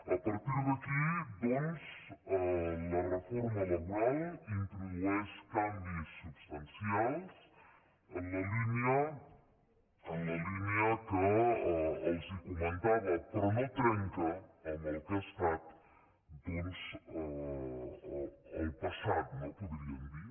a partir d’aquí doncs la reforma laboral introdueix canvis substancials en la línia que els comentava però no trenca amb el que ha estat doncs el passat no podríem dir